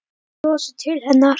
Ég brosti til hennar.